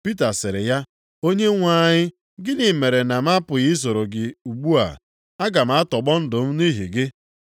Pita sịrị ya, “Onyenwe anyị, gịnị mere na m apụghị isoro gị ugbu a? Aga m atọgbọ ndụ m nʼihi gị.”